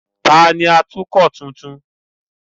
Ta ni atukọ̀ tuntun?